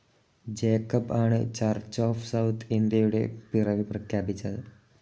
Jacob ആണ് Church of South ഇന്ത്യയുടെ പിറവി പ്രഖ്യാപിച്ചത്.